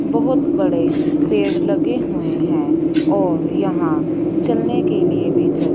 बहोत बड़े पेड़ लगे हुए हैं और यहां चलने के लिए भी--